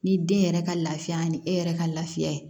Ni den yɛrɛ ka lafiya ani e yɛrɛ ka lafiya ye